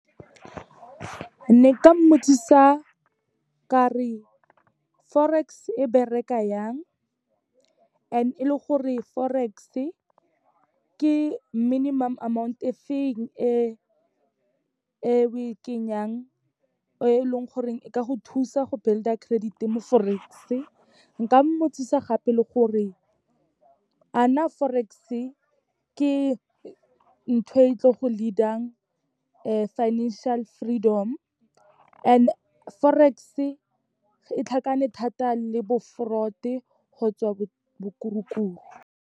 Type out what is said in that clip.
Ne ka mmotsisa ka re Forex-e bereka yang, and-e e le gore Forex-e ke minimum amount e feng e we kenyang, e leng goreng e ka go thusa go build-a credit-e mo Forex-e. Nka mmotsisa gape le gore, a na Forex-e ke ntho e tlo go leader-ang financial freedom and Forex-e e tlhakane thata le bo fraud-e kgotsa bokurukuru.